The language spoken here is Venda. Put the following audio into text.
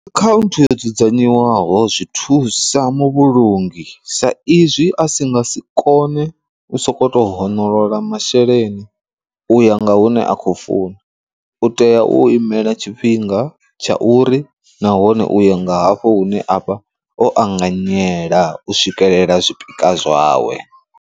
Akhaunthu yo dzudzanywaho zwi thusa muvhulungi sa izwi a si nga si kone u soko to honolola masheleni uya nga hune a khou funa, u tea u imela tshifhinga tsha uri nahone uyo nga hafho hune avha o anganyela u swikelela zwipikwa zwawe.